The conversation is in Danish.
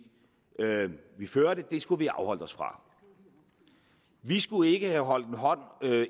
vi førte skulle vi have afholdt os fra vi skulle ikke have holdt